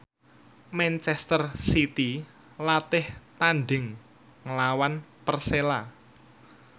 manchester city latih tandhing nglawan Persela